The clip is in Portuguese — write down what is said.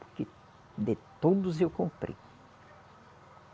Porque de todos eu comprei.